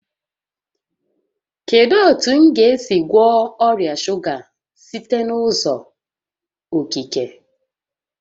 Kedu otu m ga-esi gwọọ ọrịa shuga site n'uzọ okike?